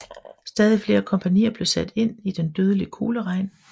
Stadig flere kompagnier blev sat ind i den dødelige kugleregn